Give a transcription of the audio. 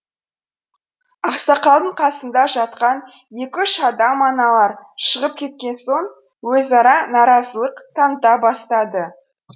ақсақалдың қасында жатқан екі үш адам аналар шығып кеткен соң өзара наразылық таныта бастады